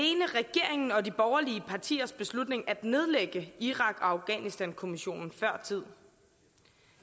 var de borgerlige partiers beslutning at nedlægge irak og afghanistankommissionen før tid